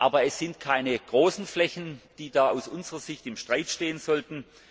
Aber es sind keine großen Flächen, die da aus unserer Sicht im Streit stehen sollten.